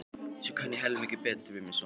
En ég kann helmingi betur við mig svona.